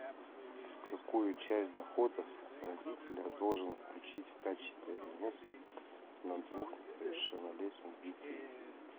какую часть доходов родителя должен включить в качестве алиментов на двух несовершеннолетних детей